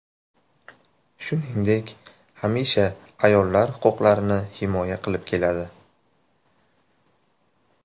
Shuningdek, hamisha ayollar huquqlarini himoya qilib keladi.